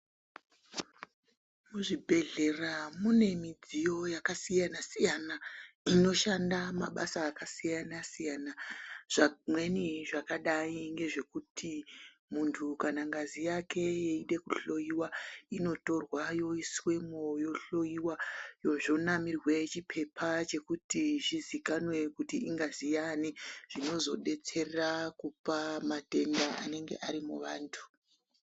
Muzvibhedhlera mune midziyo yakasiyana siyana inoshanda mabasa akasiyana siyana zvimweni zvakadai ngezvekuti muntu kana ngazi yake yeide kuhloiwa inotorwa yoiswemo yohloiwa zvonamirwe chipepa chekuti zvizikanwe kuti ingazi yaani zvinozodetsera kupa matenda anenge arimuvantu.